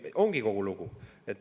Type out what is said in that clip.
Ongi kogu lugu.